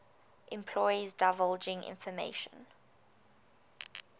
employees divulging information